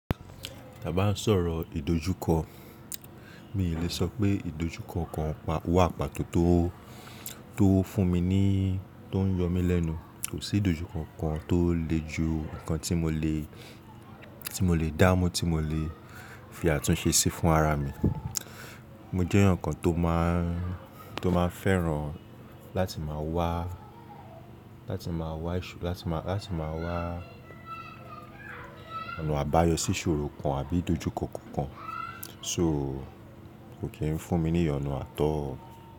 Tí a bá ń sọ̀rọ̀ ìdojúkọ, mi lè sọ pé ìdojúkọ kan wà pàtó tó, tó fún mi ní, tó ń yọ mí lẹ́nu. Kò sí ìdojúkọ kan tó le ju ǹkan tí mo lè, tí mo lè dámú tí mo lè fi àtúnṣe sí fún ara mi. Mo jẹ́ eeyan kan tó máa, tó máa fẹ́ràn láti máa wá, láti máa wá ìṣò, láti máa, láti máa wá ọ̀nà àbáyọ sí ìṣòro kan àbí ìdojúkọ kankan. So kò kí ń fún mi ní iyonu àt all.